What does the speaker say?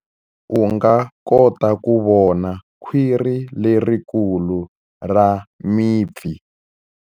U nga kota ku vona khwiri lerikulu ra mipfi.